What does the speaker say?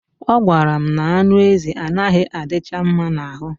Ọ gwara m na anụ ezi anaghị adicha mma n'ahụ